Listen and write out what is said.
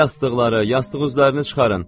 Yastıqları, yastıq üzlərini çıxarın.